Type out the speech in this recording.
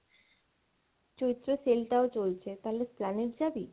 চৈত্র sell টাও চলছে তালে Esplanade যাবি?